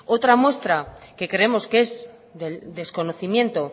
otra muestra que creemos que es del desconocimiento